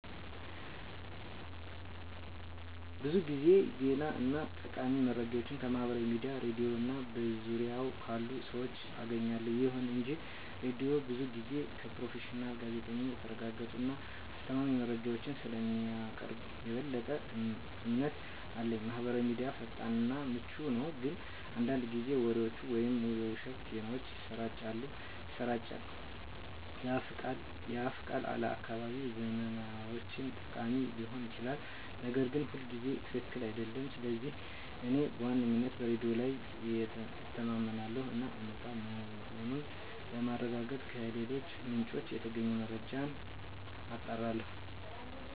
ብዙ ጊዜ ዜና እና ጠቃሚ መረጃዎችን ከማህበራዊ ሚዲያ፣ ሬድዮ እና በዙሪያዬ ካሉ ሰዎች አገኛለሁ። ይሁን እንጂ ሬዲዮው ብዙ ጊዜ ከፕሮፌሽናል ጋዜጠኞች የተረጋገጡ እና አስተማማኝ መረጃዎችን ስለሚያቀርብ የበለጠ እምነት አለኝ። ማህበራዊ ሚዲያ ፈጣን እና ምቹ ነው፣ ግን አንዳንድ ጊዜ ወሬዎችን ወይም የውሸት ዜናዎችን ያሰራጫል። የአፍ ቃል ለአካባቢያዊ ዝመናዎች ጠቃሚ ሊሆን ይችላል, ነገር ግን ሁልጊዜ ትክክል አይደለም. ስለዚህ እኔ በዋነኝነት በሬዲዮ ላይ እተማመናለሁ እና እውነት መሆኑን ለማረጋገጥ ከሌሎች ምንጮች የተገኘውን መረጃ አጣራለሁ።